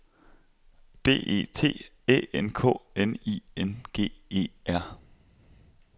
B E T Æ N K N I N G E R